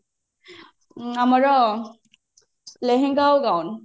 ଆମର ଲେହେଙ୍ଗା ଆଉ ଗାଉନ